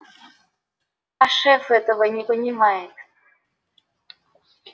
а шеф этого не понимает